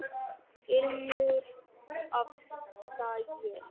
Ilmur af sagi.